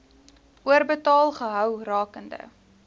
oorbetaal gehou rakende